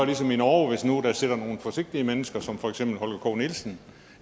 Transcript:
ligesom i norge hvis nu der sidder nogle forsigtige mennesker som for eksempel herre holger k nielsen